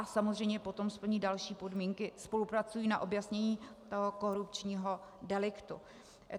A samozřejmě potom splní další podmínky, spolupracují na objasnění toho korupčního deliktu.